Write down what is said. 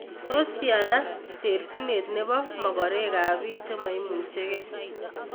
Tos tyana terchinet nepo mogoreek ak piik chemaimuchigee?